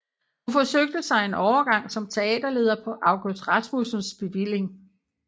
Hun forsøgte sig en overgang som teaterleder på August Rasmussens bevilling